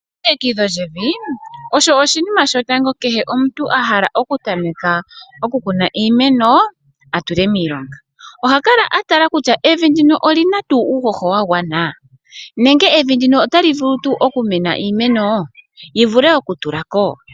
Elongekidho lyevi osho oshinima shotango kehe omuntu a hala okutameka okukuna iimeno a tule miilonga. Oha kala a tala kutya evi ndino oli na tuu uuhoho wa gwana nenge evi ndino otali vulu tuu okumena iimeno yi vule okutula ko?